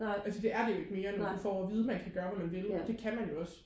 fordi det er det jo ikke mere når du får at vide at du kan gøre hvad du vil og det kan man jo også